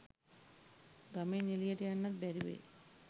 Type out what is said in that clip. ගමෙන් එලියට යන්නත් බැරි වෙයි.